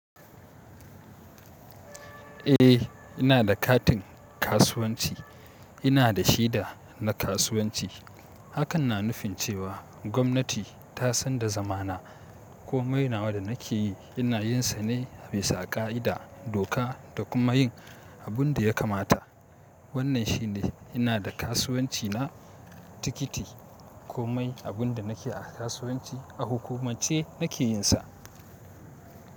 Eh ina da katin kasuwanci, ina da shida na kasuwanci. Hakan na nufin cewa gwamnati ta san da zamana. Komai nawa da nake yi ina yin sa ne bisa ka'ida doka da kuma yin abin da ya kamata. Wannan shine ina da kasuwanci na tikiti. Komai abin da nake a kasuwanci a hukumance nake yin sa.